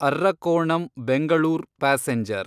Arakkonam Bengaluru passenger